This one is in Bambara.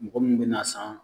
Mɔgɔ mun be n'a san.